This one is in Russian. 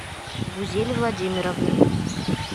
гузель владимировны